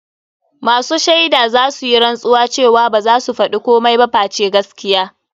Masu shaidan zasu yi rantsuwa cewa baza su faɗi komai ba face gaskiya.